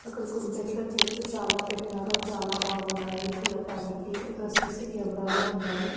అక్కడ కుంపెట్లో చెట్లు చాలా పెట్నారు అవి చాలా బాగున్నాయి చూడటానికి అక్కడ సిసి కెమెరాలు ఉన్నాయి.